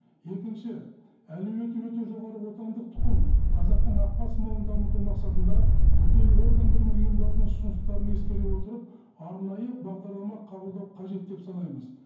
екінші әлеуеті өте жоғары отандық тұқым қазақтың ақбас малын дамыту мақсатында мүдделі органдар мен ұйымдардың ұсыныстарын ескере отырып арнайы бағдарлама қабылдау қажет деп санаймыз